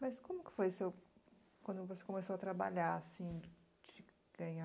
Mas como que foi seu, quando você começou a trabalhar, assim, de ganhar